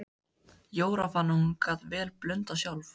Jóra fann að hún gat vel blundað sjálf.